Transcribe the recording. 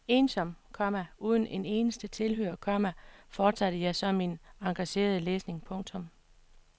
Ensom, komma uden en eneste tilhører, komma fortsatte jeg så min engagerede læsning. punktum